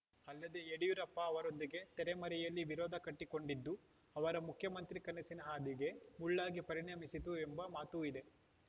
ಅಲ್ಲದೆ ಯಡಿಯೂರಪ್ಪ ಅವರೊಂದಿಗೆ ತೆರೆಮರೆಯಲ್ಲಿ ವಿರೋಧ ಕಟ್ಟಿಕೊಂಡಿದ್ದೂ ಅವರ ಮುಖ್ಯಮಂತ್ರಿ ಕನಸಿನ ಹಾದಿಗೆ ಮುಳ್ಳಾಗಿ ಪರಿಣಮಿಸಿತು ಎಂಬ ಮಾತೂ ಇದೆ